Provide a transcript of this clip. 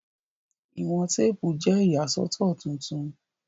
Iwọn teepu jẹ iyasọtọ tuntun